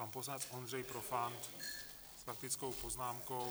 Pan poslanec Ondřej Profant s faktickou poznámkou.